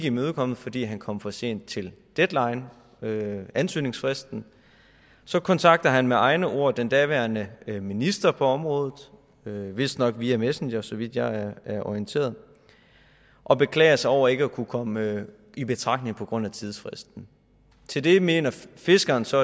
imødekommet fordi han kom for sent til deadline ansøgningsfristen så kontakter han med egne ord den daværende minister på området vistnok via messenger så vidt jeg er orienteret og beklager sig over ikke at kunne komme i betragtning på grund af tidsfristen til det mener fiskeren så